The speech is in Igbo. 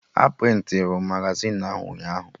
A prịntịrụ Magazịn ahụ ụnyaahụ